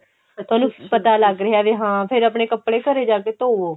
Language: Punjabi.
ਥੋਨੂੰ ਪਤਾ ਲੱਗ ਰਿਹਾ ਵੀ ਹਾਂ ਫੇਰ ਆਪਣੇ ਕੱਪੜੇ ਘਰੇ ਜਾ ਕੇ ਧੋਵੋ